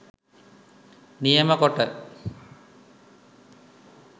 නියම කොට,